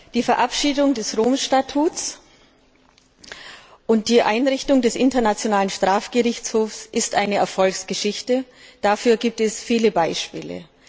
Die Verabschiedung des Römischen Statuts und die Einrichtung des Internationalen Strafgerichtshofs ist eine Erfolgsgeschichte. Dafür gibt es viele Beispiele.